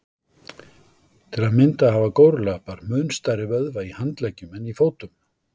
Til að mynda hafa górilluapar mun stærri vöðva í handleggjum en í fótum.